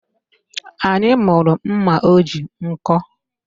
Anyị mụrụ mma o ji nkọ